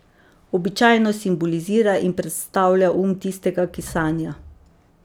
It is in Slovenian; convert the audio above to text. Običajno simbolizira in predstavlja um tistega, ki sanja.